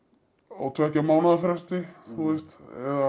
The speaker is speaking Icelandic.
á tveggja mánaða fresti þú veist